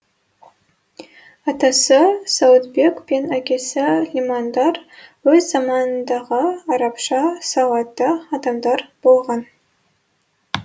атасы сауытбек пен әкесі лимандар өз заманындағы арабша сауатты адамдар болған